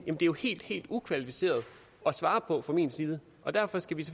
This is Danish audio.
er jo helt helt ukvalificeret at svare på fra min side og derfor skal vi